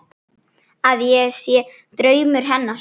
Að ég sé draumur hennar.